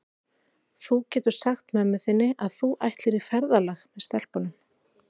Þú getur sagt mömmu þinni að þú ætlir í ferðalag með stelpunum.